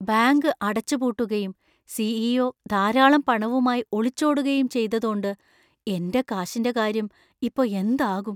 Bank അടച്ചുപൂട്ടുകയും CEO. ധാരാളം പണവുമായി ഒളിച്ചോടുകയും ചെയ്തതോണ്ട് എന്‍റെ കാശിന്‍റെ കാര്യം ഇപ്പോ എന്താകും ?